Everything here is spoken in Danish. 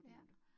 Ja